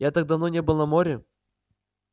я так давно не был на море